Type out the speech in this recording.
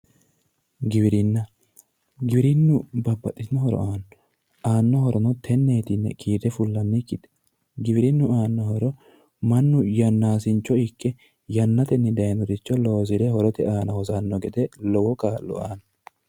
Giwirinna giwirinnu babbaxitinno horo aanno aanno horono tenneeti yine kiirre fullannikita aanno giwirinnu aannorichi mannu yannaaicho ikke yannatenni dayinoricho loosire horote aana hosanno gede lowo kaa'lo aanno